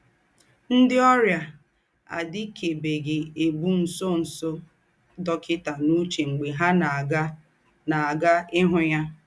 NDỊ́ ọ́rịà àdị̀kèbèghị́ ébù ńsọ̀nsọ̀ dọ́kịtà n’ùchè m̀gbè ha ná-àgà ná-àgà íhụ́ ya.